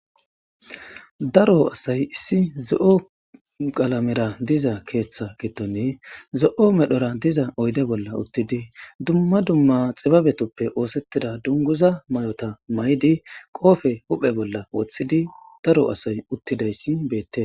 daro asay issi zo7o galamera diza keeththa giddoni zo7o medhora diza oyde bolla uttidi dumma dumma xibabetoppe oosettida dunguza may7ota may7di qoofe huphe bolla woththidi daro asay uttidayssi beette